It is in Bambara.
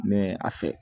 Ne a fɛ